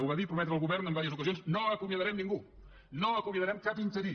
ho va dir i prometre el govern en diverses ocasions no acomiadarem ningú no acomiadarem cap interí